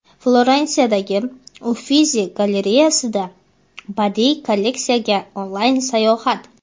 Florensiyadagi Uffizi galereyasiga badiiy kolleksiyasiga onlayn sayohat.